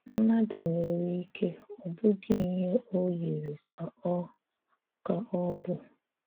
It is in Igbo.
Mmadụ̀ nwere ike ọ̀ bụghị ihè o yiri ka ọ̀ ka ọ̀ bụ̀.